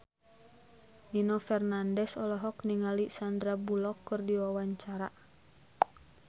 Nino Fernandez olohok ningali Sandar Bullock keur diwawancara